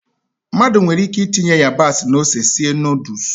Mmadụ nwere ike itinye ịyabasị na ose sie nọdụs.